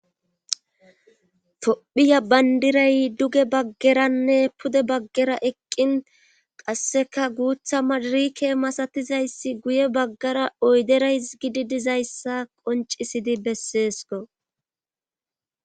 tophphiya bandiray duge baggeranne pude baggera eqqin qasseka guuththa madirike masatizayssi guye baggara oydera hisgidi dizayssa qoncisidi besseeskko